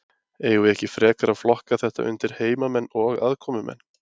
Eigum við ekki frekar að flokka þetta undir heimamenn og aðkomumenn?